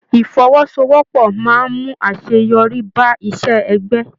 Ifọ́wọ́sowọ́pọ̀ máa n mú àṣeyọrí bá iṣẹ ẹgbẹ.